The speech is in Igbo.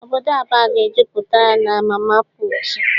Obodo Aba ga jupụtara na mama pụụtụ.